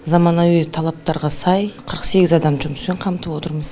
заманауи талаптарға сай қырық сегіз адамды жұмыспен қамтып отырмыз